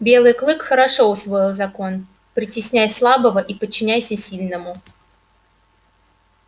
белый клык хорошо усвоил закон притесняй слабого и подчиняйся сильному